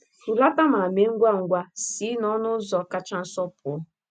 Hulata ma mee ngwa ngwa si n’ọnụ ụzọ kacha nso pụọ.